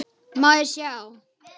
Má ég sjá?